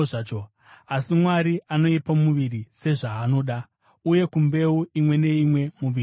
Asi Mwari anoipa muviri sezvaanoda, uye kumbeu imwe neimwe muviri wayo.